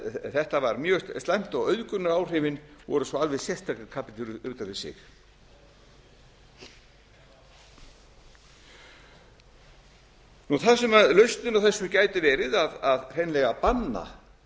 þetta var mjög slæmt og auðgunaráhrifin voru svo alveg sérstakur kapítuli út af fyrir sig þar sem lausnin á þessu gæti verið að hreinlega banna